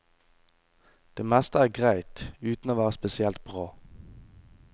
Det meste er greit, uten å være spesielt bra.